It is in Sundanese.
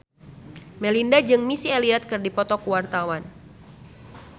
Melinda jeung Missy Elliott keur dipoto ku wartawan